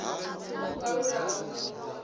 ho kalulaho sa vhupondi u